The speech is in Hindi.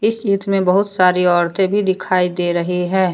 इस चित्र में बहुत सारी औरते भी दिखाई दे रही है।